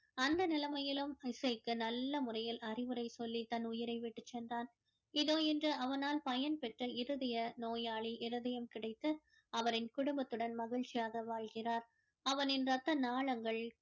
அந்த நிலைமையிலும் இசைக்கு நல்ல முறையில் அறிவுரை சொல்லி தன் உயிரை விட்டு சென்றான் இதோ இன்று அவனால் பயன் பெற்ற இருதய நோயாளி இருதயம் கிடைத்து அவரின் குடும்பத்துடன் மகிழ்ச்சியாக வாழ்கிறார் அவனின் ரத்த நாளங்கள்